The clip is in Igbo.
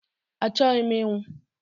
Achọghị m inwụ!